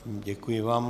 Děkuji vám.